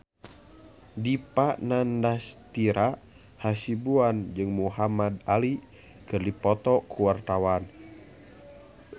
Dipa Nandastyra Hasibuan jeung Muhamad Ali keur dipoto ku wartawan